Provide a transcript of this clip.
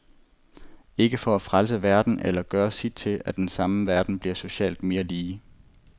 Ikke for at frelse verden eller gøre sit til, at den samme verden bliver socialt mere lige.